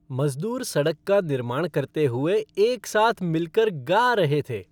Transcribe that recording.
मज़दूर सड़क का निर्माण करते हुए एक साथ मिल कर गा रहे थे।